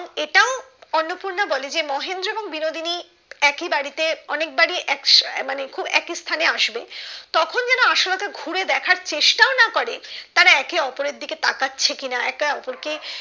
অন্নপূর্ণা বলে যে মহেন্দ্র এবং বিনোদিনী একই বাড়িতে অনেক বার ই এক্স মানে খুব একই স্থানে আসবে তখন যেন আশালতা ঘুরে দেখার চেষ্টাও না করে তারা একে ওপরের দিকে তাকাচ্ছে কি না একে ওপর কে